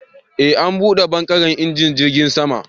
E, an duba *bangaren injin jirgin sama.